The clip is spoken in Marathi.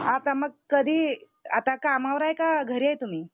आता मग कधी आता कामावर आहे का घरी आहे तुम्ही?